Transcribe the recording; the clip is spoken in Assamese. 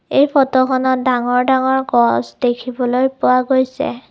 এই ফটোখনত ডাঙৰ ডাঙৰ গছ দেখিবলৈ পোৱা গৈছে।